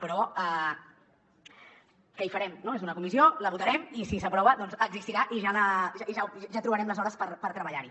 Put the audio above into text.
però què hi farem no és una comissió la votarem i si s’aprova doncs existirà i ja trobarem les hores per treballar hi